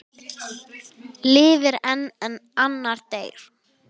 Lifir einn en annar deyr?